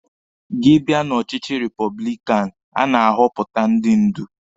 Gị bịa na ọchịchị repọblikanụ, a na-ahọpụta ndị ndú